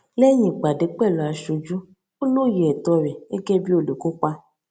lẹyìn ìpàdé pẹlú aṣojú ó lóye ẹtọ rẹ gẹgẹ bí olùkópa